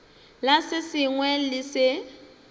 la se sengwe le se